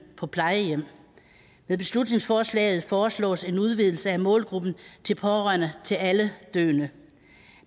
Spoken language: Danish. på plejehjem med beslutningsforslaget foreslås en udvidelse af målgruppen til pårørende til alle døende